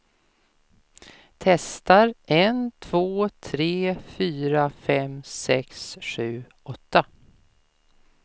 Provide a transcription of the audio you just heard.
Testar en två tre fyra fem sex sju åtta.